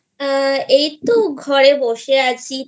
এইতো ঘরে বসে আছি